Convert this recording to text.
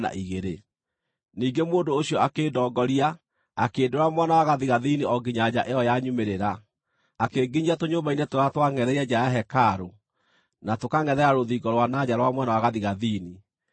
Ningĩ mũndũ ũcio akĩndongoria, akĩndwara mwena wa gathigathini o nginya nja ĩyo ya nyumĩrĩra, akĩnginyia tũnyũmba-inĩ tũrĩa twangʼetheire nja ya hekarũ na tũkangʼethera rũthingo rwa na nja rwa mwena wa gathigathini.